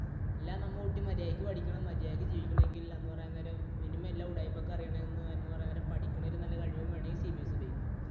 അല്ല നമ്മുടെ കുട്ടി മര്യാദയ്ക്ക് പഠിക്കണം മര്യാദക്ക് ജീവിക്കണം എങ്കിൽ എന്നു പറയാൻ നേരം minimum എല്ലാ ഉടായിപ്പ് ഒക്കെ അറിയണം എന്ന് പറയാൻ നേരം പഠിക്കുന്നതിൽ നല്ല കഴിവും വേണമെങ്കിൽ CBSE ഉപയോഗിക്കണം